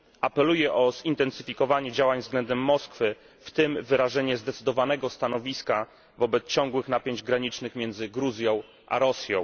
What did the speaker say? Apeluję o zintensyfikowanie działań względem Moskwy, w tym wyrażenie zdecydowanego stanowiska wobec ciągłych napięć granicznych między Gruzją a Rosją.